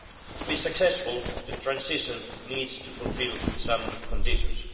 To be successful, the transition needs to fulfil some conditions.